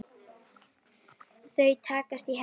Þau takast í hendur.